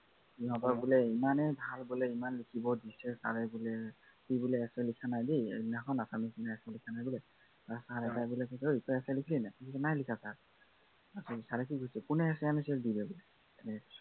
সিহঁতৰ বোলে ইমানেই ভাল বোলে ইমান লিখিব দিছে, চাই মেলি। সি বোলে essay লিখা নাই দেই assamese দিনাখন, essay লিখা নাই বোলে। sir এ তাক বোলে কৈছে, অই তই essay লিখিলি নাই, সি কলে বোলে নাই লিখা sir কোনে essay আনিছ দি দে